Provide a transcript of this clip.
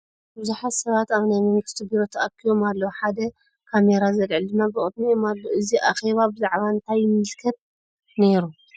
ብዙሕት ሰባት ኣብ ናይ መንግስቲ ቢሮ ተኣኪቦም ኣለዉ ሓደ ካሚራ ዘልዕል ድማ ብቅድሚኦም ኣሎ ። ኣዚ ኣኪባ ብዛዕባ እንታይ ይምልከት ነይሩ ?